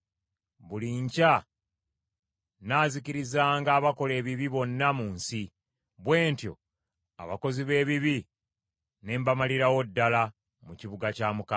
Buli nkya nnaazikirizanga abakola ebibi bonna mu nsi, bwe ntyo abakozi b’ebibi ne mbamalirawo ddala mu kibuga kya Mukama .